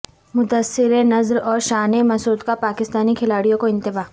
مدثر نذر اور شان مسعود کا پاکستانی کھلاڑیوں کو انتباہ